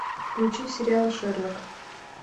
включи сериал шерлок